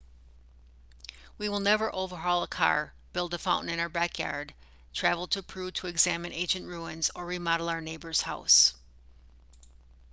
we will never overhaul a car build a fountain in our backyard travel to peru to examine ancient ruins or remodel our neighbour's house